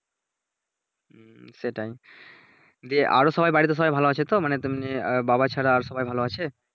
হুম সেটাই জ্বি আরো সবাই বাড়িতে সবাই ভালো আছে তো মানে তুমি আর বাবা ছাড়া আর সবাই ভালো আছে?